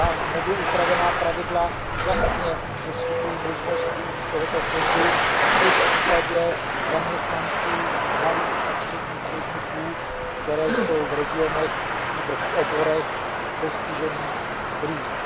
Nově upravená pravidla jasně poskytují možnost využít tohoto fondu i v případě zaměstnanců malých a středních podniků, které jsou v regionech nebo v oborech postižených krizí.